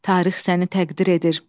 Tarix səni təqdir edir.